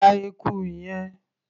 Pa eku yẹn!.